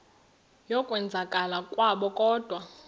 yokwenzakala kwabo kodwa